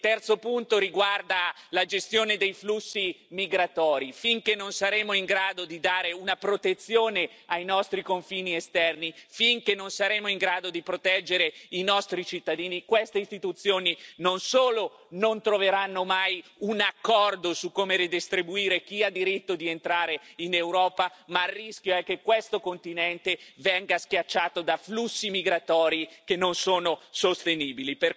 E il terzo punto riguarda la gestione dei flussi migratori finché non saremo in grado di proteggere i nostri confini esterni, finché non saremo in grado di proteggere i nostri cittadini, queste istituzioni non solo non troveranno mai un accordo su come redistribuire chi ha diritto di entrare in Europa, ma il rischio è che questo continente venga schiacciato da flussi migratori che non sono sostenibili.